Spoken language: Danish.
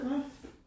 Nåh